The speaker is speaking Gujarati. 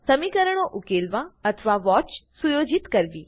સમીકરણો ઉકેલવા અથવા વોચ સુયોજિત કરવી